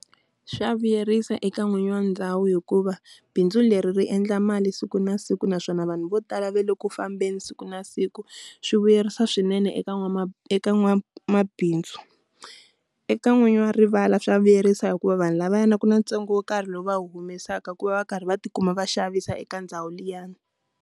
Swa vuyerisa eka n'winyi wa ndhawu hikuva bindzu leri ri endla mali siku na siku naswona vanhu vo tala va le ku fambeni siku na siku. Swi vuyerisa swinene eka eka n'wamabindzu. Eka n'winyi wa rivala swa vuyerisa hikuva vanhu lavayana ku na ntsengo wo karhi lowu va humesaka ku va va karhi va ti kuma va xavisa eka ndhawu liyani.